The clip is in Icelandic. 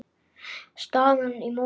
Staðan í mótinu